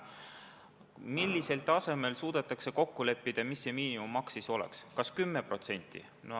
Millisel tasemel suudetakse kokku leppida, kui suur see miinimummaks siis oleks – kas 10%?